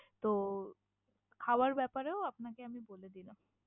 তো খাওয়ার ব্যাপারেও আপনাকে আমি বলে দিলাম।